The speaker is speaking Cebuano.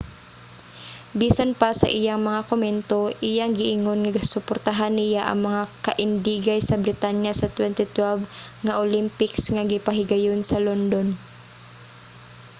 bisan pa sa iyang mga komento iyang giingon nga suportahan niya ang mga kaindigay sa britanya sa 2012 nga olympics nga gipahigayon sa london